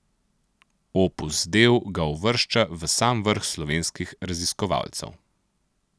Opus del ga uvršča v sam vrh slovenskih raziskovalcev.